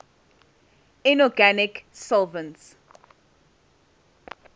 inorganic solvents